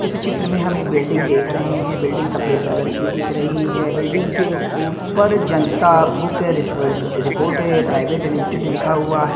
इस चित्र में हम एक बिल्डिंग देख रहे हैं बिल्डिंग सफेद कलर की दिख रही है बिल्डिंग के ऊपर Janata book report private limited लिखा हुआ है।